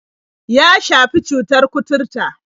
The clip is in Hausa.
Ya shafi cutar kuturta.